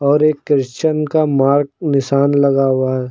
और एक क्रिश्चियन का मार्क निशान लगा हुआ है।